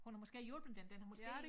Hun har måske hjulpet den den har måske